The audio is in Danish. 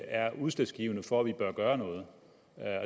er udslagsgivende for at vi bør gøre noget